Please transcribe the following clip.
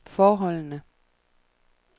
forholdene